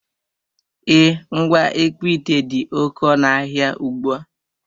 E, ngwa ịkpụ ite dị oké ọnụ ahịa ugbua.